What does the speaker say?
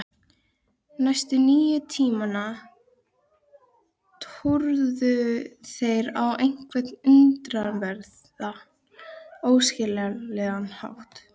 Daðína ætlaði að svara einhverju, en orðin komu ekki.